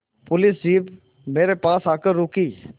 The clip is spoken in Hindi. पुलिस जीप मेरे पास आकर रुकी